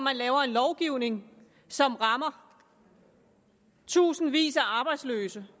at lave en lovgivning som rammer i tusindvis af arbejdsløse